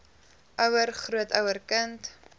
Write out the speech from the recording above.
ouer grootouer kind